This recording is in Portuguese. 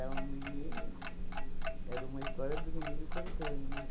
Era um menino... Era uma história do menino contando, né?